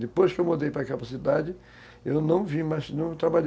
Depois que eu mudei para aquela cidade, eu não vi, eu não trabalhei